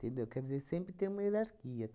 Quer dizer, sempre tem uma hierarquia.